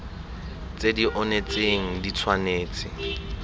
tse di onetseng di tshwanetse